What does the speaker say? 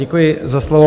Děkuji za slovo.